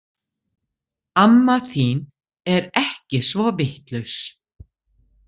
Amma þín er ekki svo vitlaus